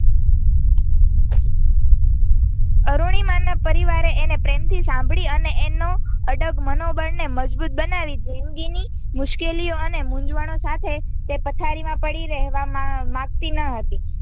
અરૂણિમાના પરિવારે એને પ્રેમથી સાંભળી અને એનો અડગ મનોબળને મજબુત બનાવી જિંદગીની મુશ્કેલીઓ અને મુંઝવણો સાથે તે પથારીમાં પડી રહેવા માંગતી ન હતી.